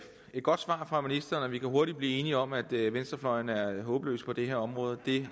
godt svar fra ministeren og vi kan hurtigt blive enige om at venstrefløjen er håbløs på det her område det er